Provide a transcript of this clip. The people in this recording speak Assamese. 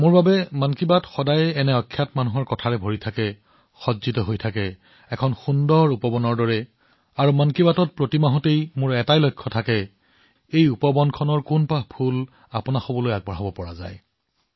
মোৰ বাবে মন কী বাত সদায়ে এনে লোকসকলৰ প্ৰচেষ্টাৰে ভৰপূৰ এক সুন্দৰ উপবন স্বৰূপ হৈ আহিছে প্ৰতিটো মাহত মোৰ এইটোৱেই প্ৰয়াস যে এই উপবনৰ কোনটো পাহি আপোনালোকৰ মাজলৈ লৈ আনিব পাৰো